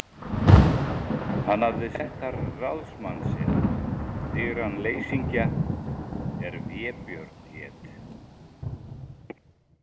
Hann hafði sett þar ráðsmann sinn, digran leysingja er Vébjörn hét.